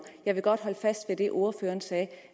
jeg vil godt holde fast i det ordføreren sagde